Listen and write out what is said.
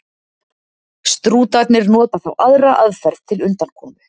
Strútarnir nota þá aðra aðferð til undankomu.